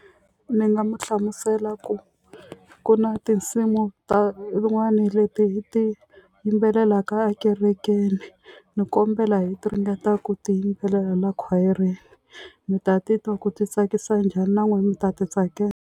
Ni nga mu hlamusela ku ku na tinsimu ta rin'wani leti hi ti yimbelelaka ekerekeni ni kombela hi ti ringetaka ku ti yimbelela la khwayereni mi ta ti twa ku ti tsakisa njhani na n'wina mi ta ti tsakela.